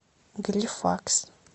галифакс